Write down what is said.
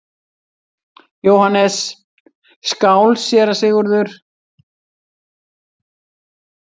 JÓHANNES: Skál, séra Sigurður!